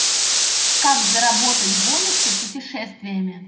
как заработать бонусы путешествиями